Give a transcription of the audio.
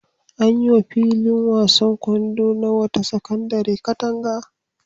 An yi wa filin wasan ƙwallon kwando na wata sakandare katanga.